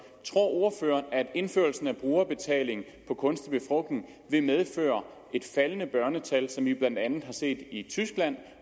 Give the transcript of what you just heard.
tror ordføreren at indførelsen af brugerbetaling for kunstig befrugtning vil medføre et faldende børnetal som vi blandt andet har set det i tyskland